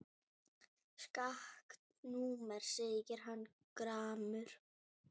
Skakkt númer segir hann gramur.